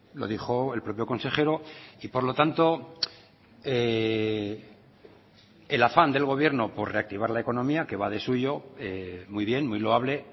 lo dijo el propio consejero y por lo tanto el afán del gobierno por reactivar la economía que va de suyo muy bien muy loable